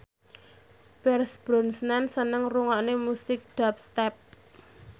Pierce Brosnan seneng ngrungokne musik dubstep